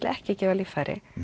ekki gefa líffæri